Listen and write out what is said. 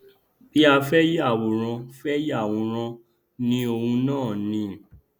bí a fẹ yàwòrán fẹ yàwòrán ni òun náà ni